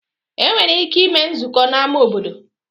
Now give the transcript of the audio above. E nwere ike ime nzukọ n'ámá obodo